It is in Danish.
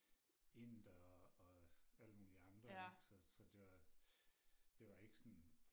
indere og alle mulige andre ikke så så det var det var ikke sådan